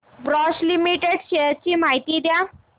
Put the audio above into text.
Bosch limited shares ची माहिती द्या